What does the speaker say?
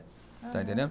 Está entendendo?